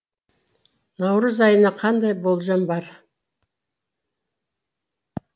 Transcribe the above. наурыз айына қандай болжам бар